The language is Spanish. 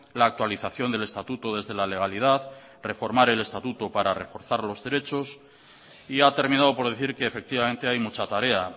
la actualización del estatuto desde la legalidad reformar el estatuto para reforzar los derechos y ha terminado por decir que efectivamente hay mucha tarea